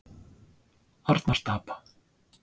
Arnarstapa